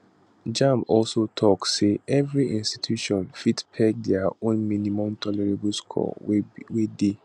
jamb also tok say evri institution fit peg dia own minimum tolerable scores wey dey